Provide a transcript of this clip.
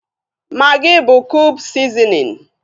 Magị bụ kube sizinin